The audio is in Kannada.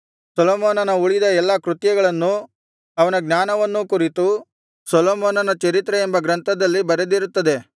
ಸೊಲೊಮೋನನ ಉಳಿದ ಎಲ್ಲಾ ಕೃತ್ಯಗಳನ್ನೂ ಅವನ ಜ್ಞಾನವನ್ನೂ ಕುರಿತು ಸೊಲೊಮೋನನ ಚರಿತ್ರೆ ಎಂಬ ಗ್ರಂಥದಲ್ಲಿ ಬರೆದಿರುತ್ತದೆ